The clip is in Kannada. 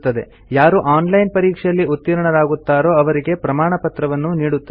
ಯಾರು ಆನ್ ಲೈನ್ ಪರೀಕ್ಷೆಯಲ್ಲಿ ಉತ್ತೀರ್ಣರಾಗುತ್ತಾರೋ ಅವರಿಗೆ ಪ್ರಮಾಣಪತ್ರವನ್ನೂ ನೀಡುತ್ತದೆ